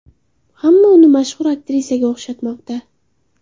Hamma uni mashhur aktrisaga o‘xshatmoqda .